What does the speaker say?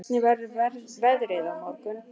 Ásborg, hvernig verður veðrið á morgun?